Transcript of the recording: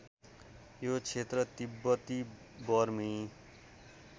यो क्षेत्र तिब्बती बर्मी